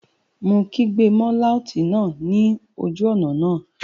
Mo kígbe mọ́ láùtì náà ní ojú ọ̀nà náà